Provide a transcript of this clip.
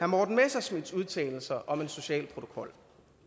morten messerschmidts udtalelser om en social protokol